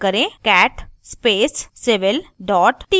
type करें cat space civil txt